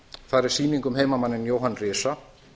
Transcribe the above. þar er sýning um heimamanninn jóhann risa